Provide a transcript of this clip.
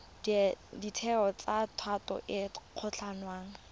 ditheo tsa thuto e kgolwane